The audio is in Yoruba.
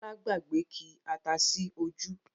Bọlá gbàgbé ki ata sí ojú